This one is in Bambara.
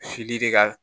de ka